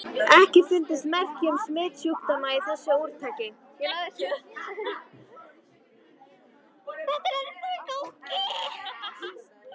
EKKI FUNDUST MERKI UM SMITSJÚKDÓMA Í ÞESSU ÚRTAKI.